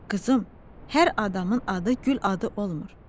Qızım, hər adamın adı gül adı olmur.